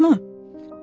Həyatmı?